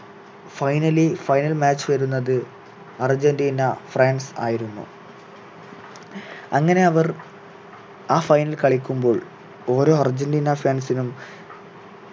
finally final match വരുന്നത് Argentina France ആയിരുന്നു അങ്ങനെ അവർ ആ final കളിക്കുമ്പോൾ ഓരോ അർജന്റീന fans നും